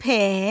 P.